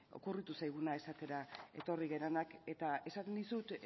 okurritu zaiguna esatera etorri garenak eta esaten dizut